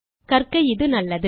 கற்க இது நல்லது